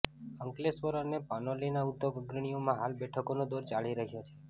અંકલેશ્વર અને પાનોલીના ઉદ્યોગ અગ્રણીઓમાં હાલ બેઠકોનો દોર ચાલી રહ્યો છે